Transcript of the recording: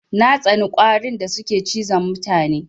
Na tsani ƙwarin da suke cizon mutane.